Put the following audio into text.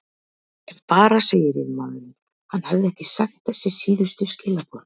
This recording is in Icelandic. Ef bara segir yfirmaðurinn, hann hefði ekki sent þessi síðustu skilaboð.